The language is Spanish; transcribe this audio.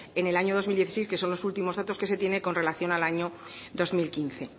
en el año dos mil dieciséis que son los últimos datos que se tiene con relación al año dos mil quince